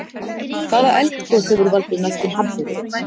Hvaða eldgos hefur valdið mestum hamförum?